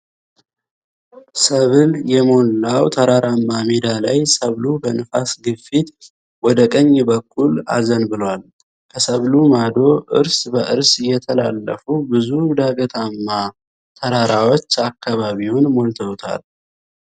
ሰብል የሞላው ተራራማ ሜዳ ላይ ሰብሉ በንፋስ ግፊት ወደ ቀኝ በኩል አዘንብሏልል። ከሰብሉ ማዶ እርስ በርስ የተላለፉ ብዙ ዳገታማ ተራራዎች አካባቢውን ሞልተዉታል።